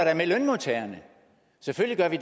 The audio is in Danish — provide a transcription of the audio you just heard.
med lønmodtagerne selvfølgelig gør vi